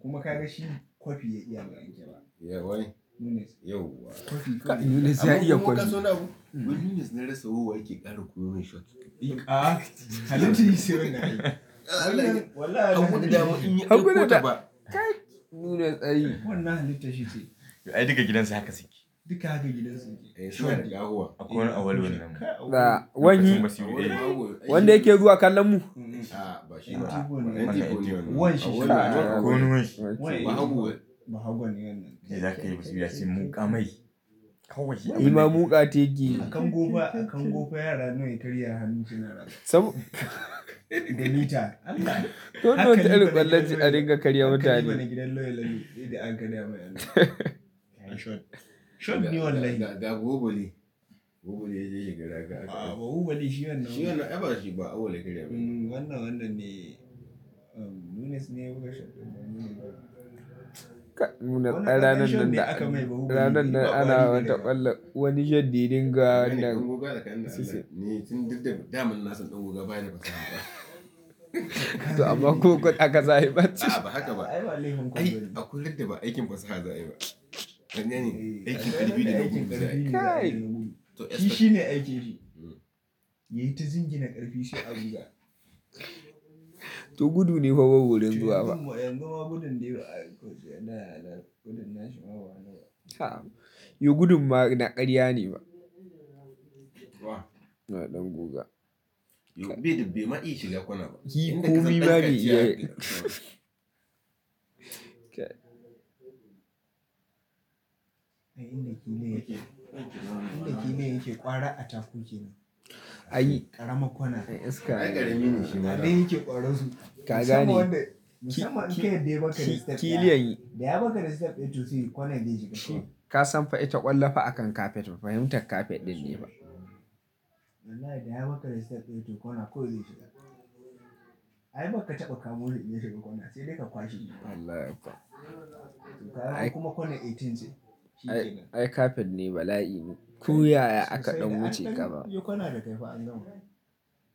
Kuma ka ga shi kwafi ya iya rera jaba. Yau wa? Nunes. Yau wa? Nunes ya iya kwafi. Abun koma so na mu. Wai Nunes na rasa wowa yake ƙara koyon wasu katika. A'a. Nunes a yi. Wannan halittar shice to Ai duka gidansu haka suke. Duka haka gidansu yake. Eh, shon. Akwai wani a walo wani. Wani? Wanda yake zuwa kallon mu? A'a ba shi ba wannan tigo wannan. Wanshi shi. Ba hakuri. Ba hakuri ne wannan. Zai sake yi basu biya sai muƙamai. Imam muƙa ta yake yi. A kan gofa, a kan gofa yara nawa ya karya hannun cinara. Sab- Gani ta. Allah. Toh wannan wata irin ƙwallace a ringa karya mutane. Gidan loyal da an karya mai allahn. Shon. Shon ne wallahi. Ga, ga, ga Ubale. Ubale ya je shi gadaka. A'a ba Ubale shi wannan ba. Shi wannan, ai bashi ba a walo ya karya mai. Wannan wannan ne, um Nunes ne ya buga shon. Ranan nan da, ranan nan ana wata ƙwallon wani shon da ya dinga nan. Ni tun da dama na san ɗan guga ba yi da fasaha. To amma kukuda aka za yi batsa. A'a ba haka ba. Ai akwai littattaf aikin fasaha za a yi ma. Dan yana yi aikin ƙarfi dai aikin ƙarfi za a yi. Kai! Shi shi ne aikin shi. Yayi ta zingi na ƙarfi shi a buga. To gudu ne fa Ubale zuwa fa. Yanzu ma yan goma gudun dai ba a yi kwace da na, na gudun na shi ma banaga. A'a. Yo gudun ma na ƙarya ne ba. Wa? Na ɗan guga. Yo bede be ma iya shiga kona ba. Kai. Inda ki ne yake. Inda ki ne yake ƙwara a takuke nan. A yi. Ƙaramar kwana. Ai iska. Ai karami ne shi. Anan yake ƙwaro su. Ka gani. Musamman wanda, musamman in ka yarda baka da step dayawa. Ki, ki, ki liyan yi. Da ya baka da step eight to three kona yayi shiga shiga. Kasan fa ita ƙwallafa akan kafet ba fahimtar kafet ɗin ne ba. Wallahi. Da ya baka da step eight to kwana kawai zai shiga. Ai baka taka kamu shi yayi shiga kona sai dai ka kwashe guda. Wallahi kuwa to kaga. Kuma corner eighteen ce. Ai kafet ne bala'i. Ko yaya aka ɗan wuce ƙaba. Yo kwana da kaifa an gama.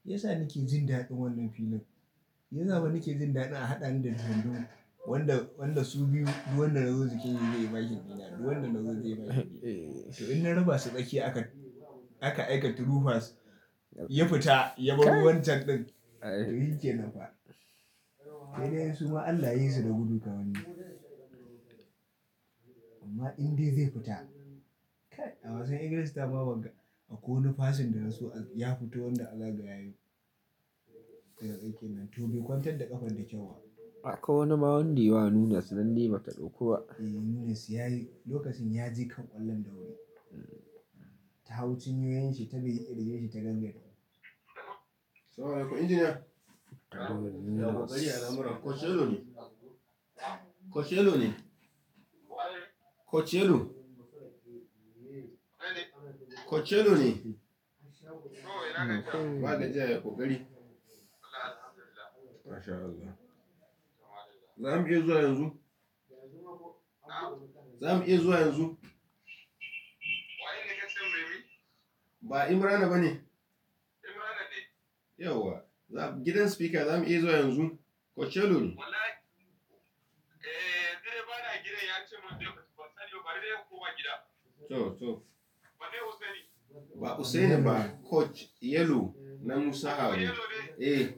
Shiyasa nake jin daɗin wannan filin. Shi yasa fa nake jin daɗi a haɗa ni da su biyun. Wanda, wanda su biyu, duk wanda na zo cikin yi zai yi bakin gida. Duk wanda na zo zai yi bakin gida. To in na rufa su ɓaki aka, aka aika to rufa ya fita ya bar wancan ɗin. Ai shike nafa. Sai dai su ma Allah yayi su da gudu kawai ne. Amma inda zai fita? A wasan Ingilishi ta ma ba ka, ba ko wani passing da nasu ya fito wanda Allah ga yayi daga aikin nan. To bai kwantar da ƙafar da kyau ba. A'a ko wani mawundi wa Nunes don dai bata ɗauko ba. Eh Nunes ya yi, lokacin ya je kan ƙwallon da wuri. Tahau cin yoyon shi ta bi iya da yake ta gangare. Salam alaikum Engineer. Ko ƙarayi alhamra. Coachella ne? Coachella ne? Wa ne? Coachella? Wa ne? Coachella ne? O ina gajiya. Ba gajiya ya ƙokari? Allah alhamdulillah masha Allah. MashAllah. Za mu iya zuwa yanzu? Za mu iya zuwa yanzu? Wa ne ne ka ce mai me? Ba Imran ne ba ne? Imran ne. Yau wa? Gidan speaker za mu iya zuwa yanzu? Coachella ne? Wallahi, eh, yanzu dai ba na gidan ya ce manjo ya fito ban sani ba. Bari dai in koma gida. To, to. Ba ne Hussaini? Ba Hussaini ba. Coach Yellow na Musaawi. Oh Yellow ne? Eh.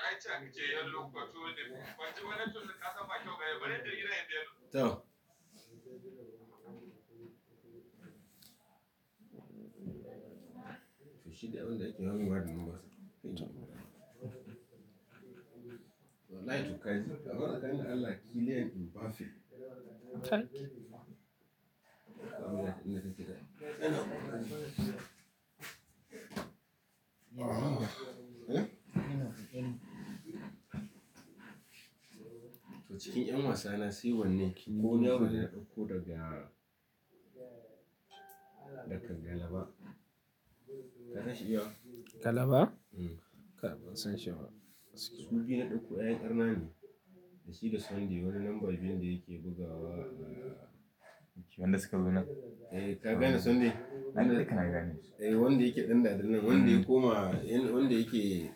Ai can ya ce Yellow kuwa tuni. Ban ji wannan tuni ƙasa ba kyauta yau. Bana da gida yanzu. Yello. To, to. Shi dai wannan da kyanwuwa ne masa. Wallahi to kaji, amman tsalani da Allah. Liyan in bafe. To cikin 'yan wasana sai wannan. Ko wani yaro ne na ɗauko daga, daga Galaba. Ka sha shi yau? Kalaba? Mm. Ban san shi ba. Su biyu na ɗauko 'yan arnane. Da shi da Sunday wani number biyu ne da yake bugawa. Wanda suka zo nan? Eh, ka gane Sunday? Na ɗauka ka gane. Eh wanda yake ɗanɗana nan. Wanda kuma, wanda yake.